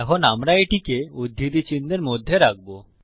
এখন আমরা এটিকে উদ্ধৃতি চিনহের মধ্যে রাখবো